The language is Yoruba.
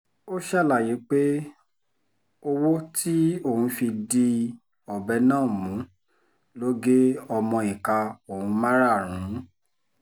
ó ṣàlàyé pé owó tí òun fi di ọbẹ̀ náà mú ló gé ọmọ ìka òun márààrún